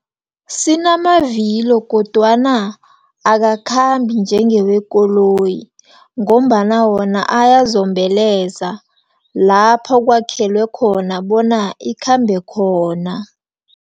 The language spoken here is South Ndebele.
Sinamavilo, kodwana akakhambi njengewekoloyi, ngombana wona ayazombeleza lapha kwakhelwe khona, bona ikhambe khona.